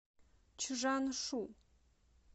чжаншу